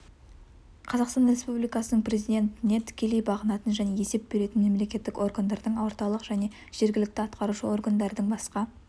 қазақстан республикасының президентіне тікелей бағынатын және есеп беретін мемлекеттік органдардың орталық және жергілікті атқарушы органдардың басқа